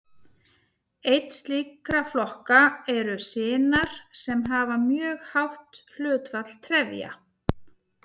Einn slíkra flokka eru sinar sem hafa mjög hátt hlutfall trefja.